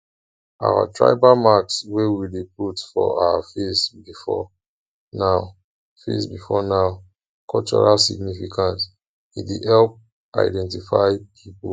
our tribal marks wey we dey put for face before now face before now cultural significance e dey help identify pipo